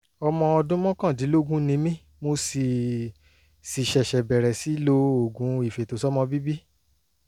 ọmọ ọdún mọ́kàndínlógún ni mí mo sì sì ṣẹ̀ṣẹ̀ bẹ̀rẹ̀ sí lo oògùn ìfètòsọ́mọbíbí